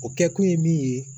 O kɛkun ye min ye